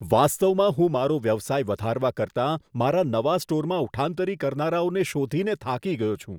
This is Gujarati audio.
વાસ્તવમાં હું મારો વ્યવસાય વધારવા કરતાં મારા નવા સ્ટોરમાં ઉઠાંતરી કરનારાઓને શોધીને થાકી ગયો છું.